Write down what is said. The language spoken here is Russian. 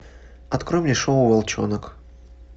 открой мне шоу волчонок